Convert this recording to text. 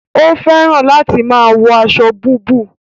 O fẹràn láti máa wọ aṣọ búbù